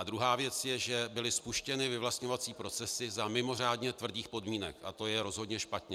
A druhá věc je, že byly spuštěny vyvlastňovací procesy za mimořádně tvrdých podmínek a to je rozhodně špatně.